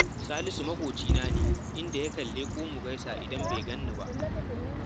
Salisu maƙocina ne, inda yakan leƙo mu gaisa, idan bai gan ni ba